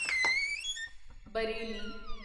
Bareilly